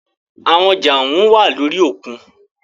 Àwọn ọjà ohùn wá lórí òkun.